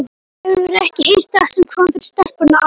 Hefurðu ekki heyrt það sem kom fyrir stelpuna á